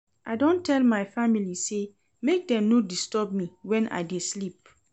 I don tell my family sey make dem no disturb me wen I dey sleep.